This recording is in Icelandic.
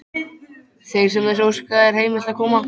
Þeim sem þess óska er heimilt að koma.